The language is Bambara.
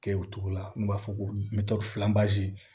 Kɛ o cogo la n'u b'a fɔ ko